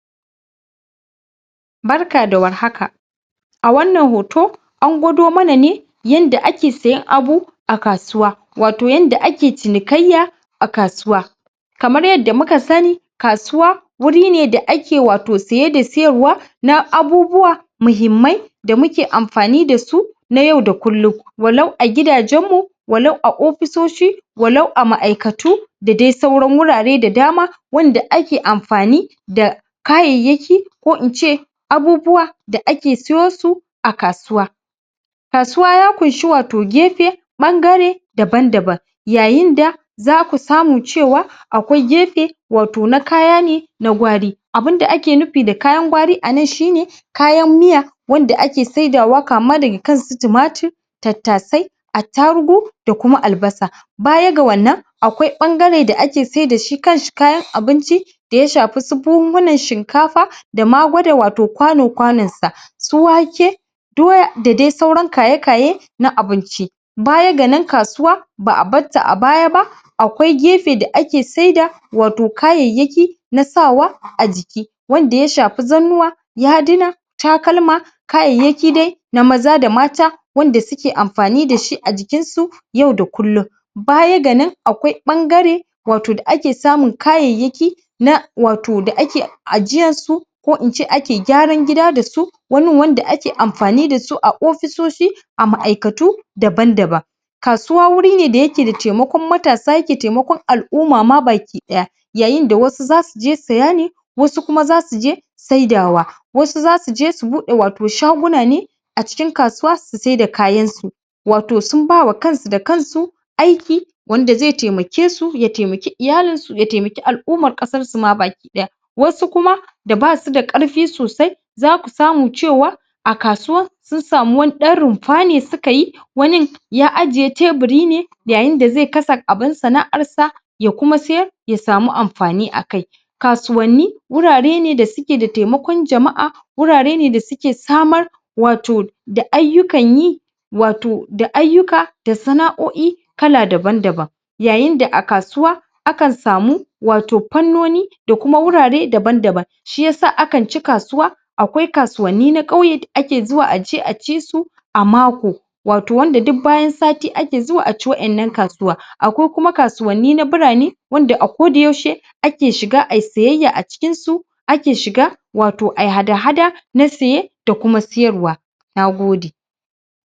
Barka da war haka a wannan hoto an gwado mana ne yanda ake siyan abu a kasuwa wato yanda ake cinikayya a kasuwa kamar yadda muka sani kasuwa wuri ne da ake wato siye da siyarwa na abubuwa muhimmai da muke amfani da su na yau da kullum walau a gidajen mu walau a ofisoshi walau a ma'aikatu da dai sauran wurare da dama wanda ake amfani da kayayyaki ko ince abubuwa da ake sayo su a kasuwa kasuwa ya kunshi wato gefe bangare daban daban yayinda zaku samu cewa akwai gefe wato na kayane na gwari abun da ake nufi da kayan gwari anan shine kayan miya wanda ake saidawa kama daga kan su tumatir tattasai attarugu da kuma albasa baya ga wannan akwai bangare da ake sai da shi kanshi kayan abinci da yashafi su buhuhunan shinka fa dama gwada wato kwano-kwanon sa su wake doya da dai sauran kaya kaye na abinci baya ganan kasuwa ba'abarta a baya ba a kwai gefe da ake sai da wato kayayyaki na sawa a jiki wanda ya shafi zannuwa yadina takalma kayayyaki dai na maza da mata wanda suke amfani dashi a jikin su yau da kullum baya ganan akwai bangare wato da ake samun kayayyaki na wato da ake ajiyar su ko ince ake gyaran gida su wanin wanda ake amfani da su a ofisoshi a ma'aikatu daban-daban kasuwa wuri ne dayake da taimakon matasa yake taimakon al-umma ma baki daya yayin da wasu zasu je saya ne wasu kuma zasu je saidawa wasu zasu je su bude wato shaguna ne a cikin kasuwa susai da kayan su wato sum bawa kansu da kansu aiki wanda zai taimakesu ya taimaki iyalinsu ya taimaki al-umma kasar su ma baki daya wasu kuma basu da karfi sosai zaku samu cewa a kasuwan sun samu wani dan rumfa ne suka yi wanin ya ajiye teburi ne yayin da zai kasa abun sana'arsa ya kuma sayar ya samu amfani akai kasuwan ni wurare ne da suke da taimakon jama'a wurare ne dasuke samar wato da aiyukan yi wato da aiyuka da sana'oi kala daban-daban yayin da a kasuwa akan samu wato fannoni da kuma wurare daban-daban shiyasa akan ci kasuwa akwai kasuwanni na kyauye da ake zuwa aje aci su a mako wato wanda duk bayan sati daya ake zuwa aci wadan nan kasuwa akwai kuma kasun ni na birane wanda ako da yaushe ake shiga ayi sayayya acikin su ake shiga wato ayi hada-hada na saye da kuma sayar wa nagode